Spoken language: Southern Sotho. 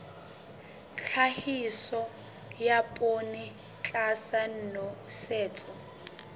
tlhahiso ya poone tlasa nosetso